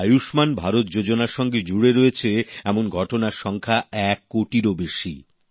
আয়ুষ্মান ভারত যোজনার সঙ্গে জুড়ে রয়েছে এমন ঘটনার সংখ্যা এক কোটিরও বেশি